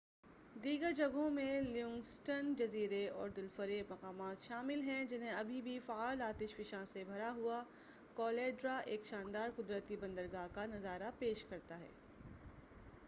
دیگر جگہوں میں لیونگسٹن جزیرے اور دلفریب مقامات شامل ہیں جہاں اب بھی فعال آتش فشاں سے بھرا ہوا کالڈیرا ایک شاندار قدرتی بندرگاہ کا نظارہ پیش کرتا ہے